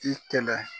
I kɛlɛ